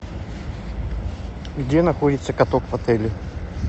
где находится каток в отеле